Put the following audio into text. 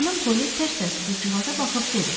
Xanım Poli tərs-tərs qızcığaza baxıb dedi: